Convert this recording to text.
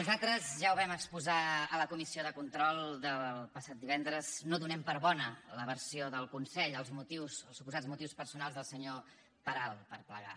nosaltres ja ho vam exposar a la comissió de control del passat divendres no donem per bona la versió del consell els suposats motius personals del senyor peral per plegar